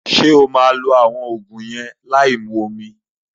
Ṣé o maa lo àwọn Ògùn yẹn láì mu omi